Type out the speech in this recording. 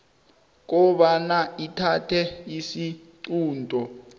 kobana ithathe isiqunto